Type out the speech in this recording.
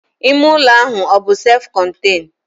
Ime ụlọ ahụ ọbụ sef kọn?